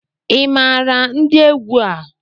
Ị maara ndị egwu a?